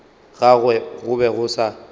gagwe go be go sa